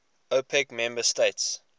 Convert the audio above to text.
opec member states